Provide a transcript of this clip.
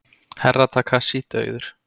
Herra Takashi dauður!